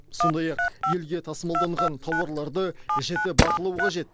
сондай ақ елге тасымалданған тауарларды жіті бақылау қажет